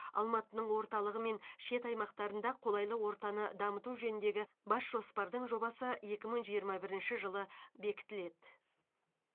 алматының орталығы мен шет аймақтарында қолайлы ортаны дамыту жөніндегі бас жоспардың жобасы екі мың жиырма бірінші жылы бекітіледі